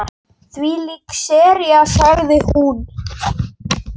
Þvílík sería sagði hún.